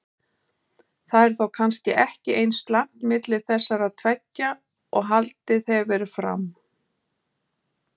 Það er þá kannski ekki eins slæmt milli þessara tveggja og haldið hefur verið fram?